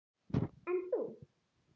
En þú?